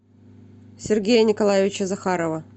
сергея николаевича захарова